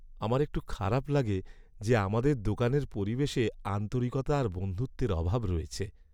আমার একটু খারাপ লাগে যে আমাদের দোকানের পরিবেশে আন্তরিকতা আর বন্ধুত্বের অভাব রয়েছে।